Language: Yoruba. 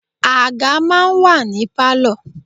Àga máa ń wà ní Pálọ̀.